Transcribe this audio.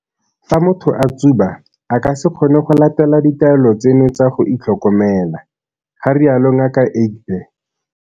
Fa motho a tsuba, a ka se kgone go latela ditaelo tseno tsa go itlhokomela, ga rialo Ngaka Egbe.